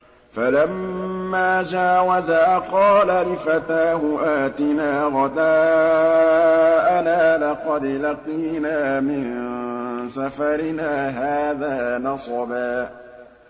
فَلَمَّا جَاوَزَا قَالَ لِفَتَاهُ آتِنَا غَدَاءَنَا لَقَدْ لَقِينَا مِن سَفَرِنَا هَٰذَا نَصَبًا